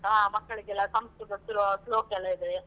Culture ಎಲ್ಲ ಒಳ್ಳೇದುಂಟು ಮಕ್ಕಳಿಗೆಲ್ಲ ಸಂಸ್ಕೃತ ಶ್ಲೋ~ ಶ್ಲೋಕ ಎಲ್ಲ ಇದೆ.